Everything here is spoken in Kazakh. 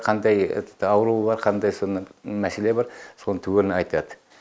қандай ауруы бар қандай соны мәселе бар соны түгелін айтады